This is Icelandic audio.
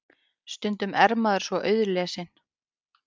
Stundum er maður svo auðlesinn.